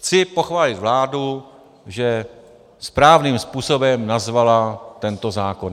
Chci pochválit vládu, že správným způsobem nazvala tento zákon.